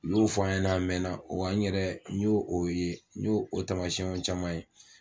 U y'o f'an ɲɛnna a mɛn, wa n yɛrɛ n y'o o ye, n y'o o tamasiɛnw caman ye.